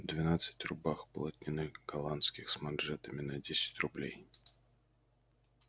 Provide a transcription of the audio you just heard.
двенадцать рубах полотняных голландских с манжетами на десять рублей